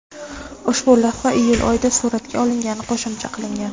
Ushbu lavha iyul oyida suratga olingani qo‘shimcha qilingan.